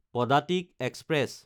Padatik express